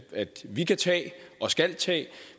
vi kan tage og skal tage